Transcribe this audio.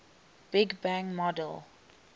big bang model